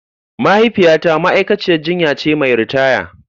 Mahaifiyata ma'aikaciyar jinya ce mai ritaya.